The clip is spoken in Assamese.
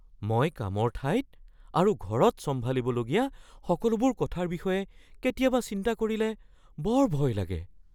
মই কামৰ ঠাইত আৰু ঘৰত চম্ভালিবলগীয়া সকলোবোৰ কথাৰ বিষয়ে কেতিয়াবা চিন্তা কৰিলে বৰ ভয় লাগে।